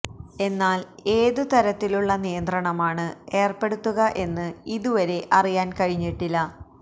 എന്നാൽ ഏത് തരത്തിലുള്ള നിയന്ത്രണമാണ് ഏർപ്പെടുത്തുക എന്ന് ഇതുവരെ അറിയാൻ കഴിഞ്ഞിട്ടില്ല